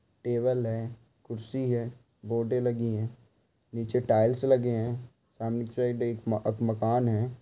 Table है कुर्सी है बोर्डे लगीं हैं। नीचे टाइल्स लगे हैं । सामने के साइड एक अक मकान हैं।